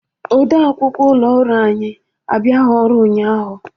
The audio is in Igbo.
Ọde akwụkwọ ụlọ ọrụ anyi abiaghị ọrụ ụnyaahụ.